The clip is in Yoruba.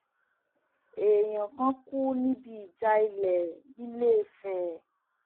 èèyàn kan kú níbi ìjà ilẹ ńiléfèé